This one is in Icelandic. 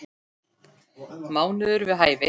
Mánuður við hæfi.